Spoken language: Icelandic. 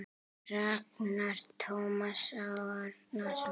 Ragnar Tómas Árnason